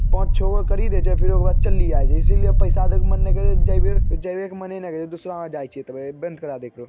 पांच-छो गो करी दे छे फिर ओकरो बाद चल्ली आय छे इसीलिए पैसा देक मन नाय करे| जइबे-जइबे क मने न करे दूसरा यहाँ जाइछिये तबे बंद करा दे एकरो।